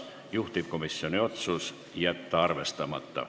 Juhtivkomisjoni otsus on jätta see arvestamata.